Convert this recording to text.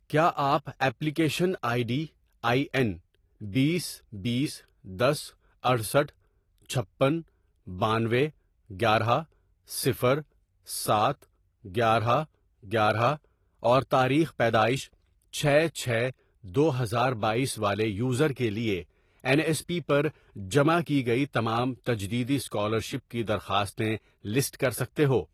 کیا آپ application I D I N, بیس، بیس، دس، اٹھسٹھ ،چھپن، بانوے، گیارہ ،صفر، سات، گیارہ گیارہ، اور تاریخ پیدائش چھ چھ دو ہزار بایس والے یوزر کے لیے این ایس پی پر جمع کی گئی تمام تجدیدی اسکالرشپ کی درخواستیں لسٹ کر سکتے ہو